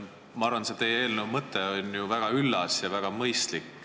Ma arvan, et teie eelnõu mõte on väga üllas ja väga mõistlik.